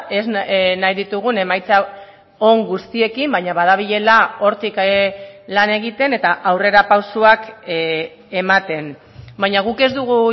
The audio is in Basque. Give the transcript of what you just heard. ez nahi ditugun emaitza on guztiekin baina badabilela hortik lan egiten eta aurrerapausoak ematen baina guk ez dugu